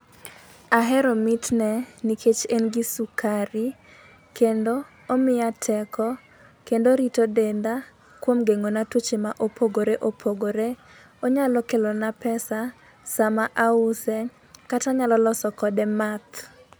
Ahero mitne nikech en gi sukari kendo omiya teko kendo orito denda kuom geng'ona tuoche mopogore opogore. Onyalo kelo na pesa sama ause kata anyalo loso kode math.